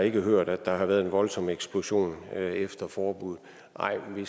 ikke hørt at der har været en voldsom eksplosion efter forbuddet nej men